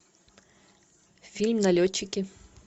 фильм налетчики